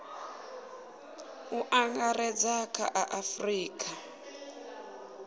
u angaredza kha a afurika